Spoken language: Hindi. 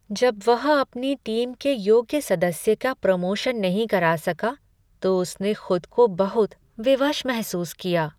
जब वह अपनी टीम के योग्य सदस्य का प्रमोशन नहीं करा सका तो उसने खुद को बहुत विवश महसूस किया।